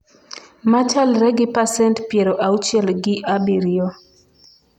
machalre gi pasent piero auchiel gi abiriyo